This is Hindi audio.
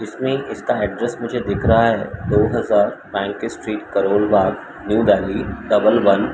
इसमें इसका एड्रेस मुझे दिख रहा है। दो हजार Bank Street Karol Bagh New Delhi double one --